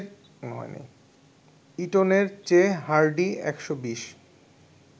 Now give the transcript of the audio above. ইটনের চেয়ে হার্ডি ১২০